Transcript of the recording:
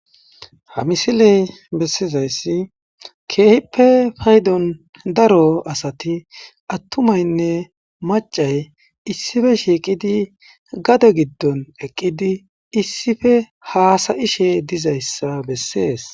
ha misiley bessizayssi keehippe paydon daro asati attumaynne macay issife shiiqidi gade giddon eqqidi issife haasayishe dizayssa bessees